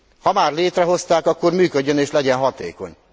Ha már létrehozták, akkor működjön, és legyen hatékony.